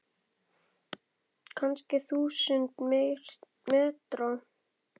Kannski þúsund metra?